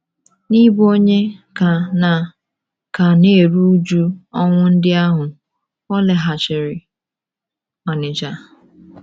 N’ịbụ onye ka na - ka na - eru újú ọnwụ ndị ahụ, ọ laghachiri Onitsha.